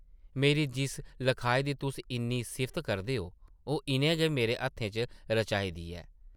मेरी जिस लखाई दी तुस इन्नी सिफत करदे ओ, ओह् इʼनें गै मेरे हत्थें च रचाई दी ऐ ।